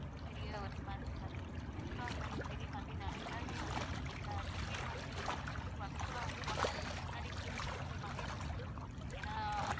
பெரிய ஒரு அமெரிக்காங்குறது பெரிய country னால எல்லாருமே வந்து அஹ் ticket வந்து book பண்றது வந்து actual லா வந்து one month க்கு முன்னாடி வந்து reservation பண்ணிடுவாங்க. ஏன்னா